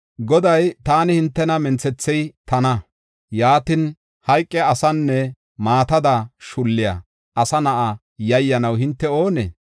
Goday, “Taani, hintena minthethey tana; yaatin, hayqiya asenne maatada shulliya asa na7a yayyanaw hinte oonee?